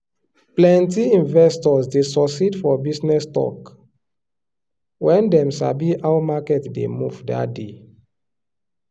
plenty investors dey succeed for business talk when dem sabi how market dey move that day.